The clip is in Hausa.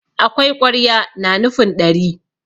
akwai ƙwarya na nufin ɗari